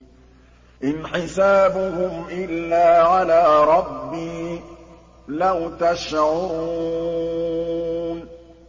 إِنْ حِسَابُهُمْ إِلَّا عَلَىٰ رَبِّي ۖ لَوْ تَشْعُرُونَ